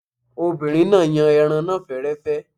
Obìnrin náà yan ẹran náà fẹ́rẹ́fẹ́